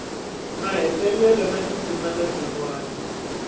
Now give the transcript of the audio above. mahetelelo na tindzimana tin wana